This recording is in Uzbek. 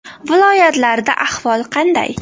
Viloyatlarda ahvol qanday?